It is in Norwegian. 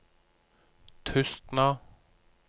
Tustna